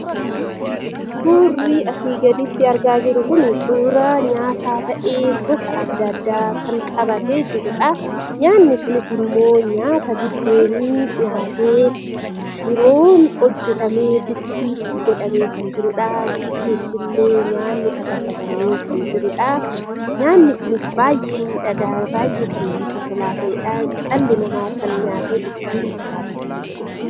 Suurri asii gaditti argaa jirru kun suuraa nyaataa ta'ee gosa adda addaa kan qabatee jirudha. Nyaatni kunis immoo nyaata buddeenii shiroon hojjatamee distii itti godhamee kann jirudha. Nyaanni illee fataffatamee kan jirudha. Nyaanni kunis baay'ee miidhagaa baay'ee namatti tolaa kan ta'edha. Dhalli namaa nyaatee kan ittiin jiraatudha jechuudha.